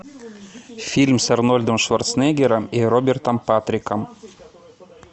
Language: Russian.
фильм с арнольдом шварценеггером и робертом патриком